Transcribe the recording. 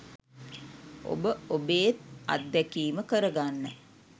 ඔබ ඔබේත් අත්දැකීම කරගන්න